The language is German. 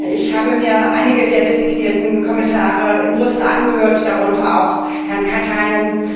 Ich habe mir einige der designierten Kommissare in Brüssel angehört, darunter auch Herrn Katainen.